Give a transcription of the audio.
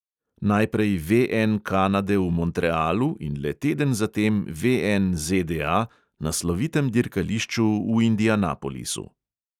Najprej VN kanade v montrealu in le teden zatem VN ZDA na slovitem dirkališču v indianapolisu.